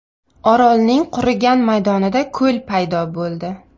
Orolning qurigan maydonida ko‘l paydo bo‘ldi.